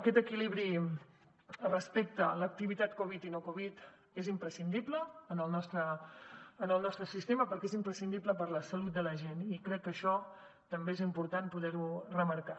aquest equilibri respecte a l’activitat covid i no covid és imprescindible en el nostre sistema perquè és imprescindible per a la salut de la gent i crec que això també és important poder ho remarcar